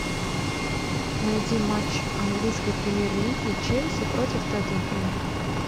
найди матч английской премьер лиги челси против тоттенхэм